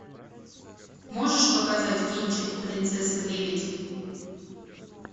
можешь показать кинчик принцесса лебедь